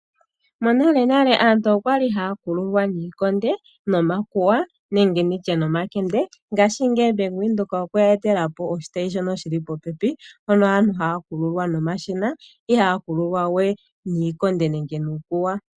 Monalenale aantu okwa ki haya kululwa niikonde nomakuwa nenge nditye nomakende. Ngashingeyi Bank Windhoek okwe ya etela po oshitayi shono shi li popepi mpono aantu haya kululwa nomashina, ihaya kululwa we niikonde nenge nuukuwa.